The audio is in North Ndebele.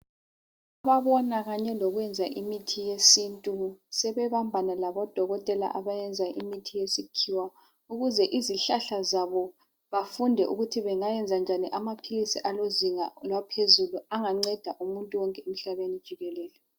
Ababona kanye lokwenza imithi yesintu. Sebebambana labodokotela abayenza imithi yesikhiwa. Ukuze izihlahla zabo, bafunde ukuthi bangayenza njani amaphilisi alozinga lwaphezulu, anganceda umuntu wonke, emhlabeni wonke jikekele.